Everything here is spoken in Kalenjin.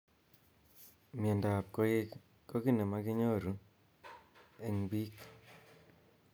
mnyendo ab koik koki nemakinyoru eng bik.